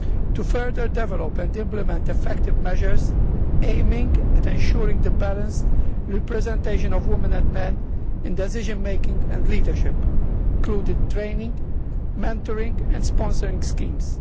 to further develop and implement effective measures aimed at ensuring the balanced representation of women and men in decision making and leadership, including training, mentoring and sponsoring schemes.